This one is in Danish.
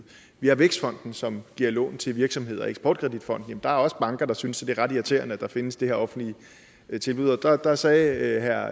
vi har vækstfonden som giver lån til virksomheder og eksport kredit fonden der er også banker der synes det er ret irriterende at der findes de her offentlige tilbud og der sagde herre